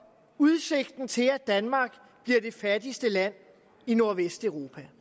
udsigten til at danmark bliver det fattigste land i nordvesteuropa